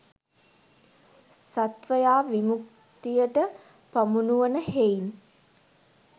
සත්වයා විමුක්තියට පමුණුවන හෙයින්